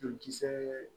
Joli kisɛ